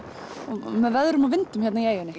með veðrum og vindum hérna í eyjunni